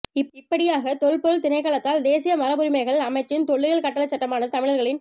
இப்படியாக தொல் பொருள் திணைக்களத்தால் தேசிய மரபுரிமைகள் அமைச்சின் தொல்லியல் கட்டளைச்சட்டமானது தமிழர்களின்